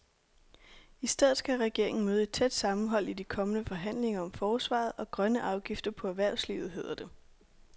I stedet skal regeringen møde et tæt sammenhold i de kommende forhandlinger om forsvaret og grønne afgifter på erhvervslivet, hedder det.